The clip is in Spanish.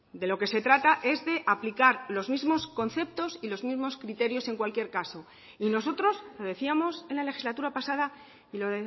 de lo que se trata es de aplicar los mismos conceptos y los mismos criterios en cualquier caso y nosotros lo decíamos en la legislatura pasada y lo